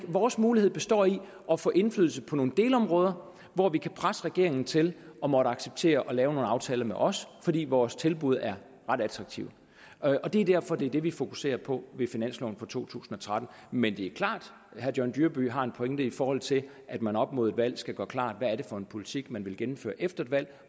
vores mulighed består i at få indflydelse på nogle delområder hvor vi kan presse regeringen til at måtte acceptere at lave nogle aftaler med os fordi vores tilbud er ret attraktive og det er derfor det er det vi fokuserer på ved finansloven for to tusind og tretten men det er klart at herre john dyrby paulsen har en pointe i forhold til at man op mod et valg skal gøre klart hvad det er for en politik man vil gennemføre efter et valg